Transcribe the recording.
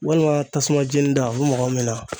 Walima tasuma jeni da o bɛ mɔgɔ min na.